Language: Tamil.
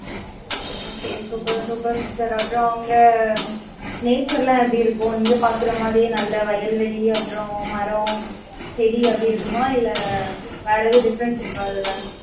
okay super super sister அப்புறம், அவங்க, Nature எல்லாம் எப்படி இருக்கும்? இங்க பாக்குற மாதிரியே, நல்ல வயல்வெளி, அப்புறம் மரம், செடி அப்படி இருக்குமா? இல்லை, வேற எதுவும் difference இருக்கா, இதுல?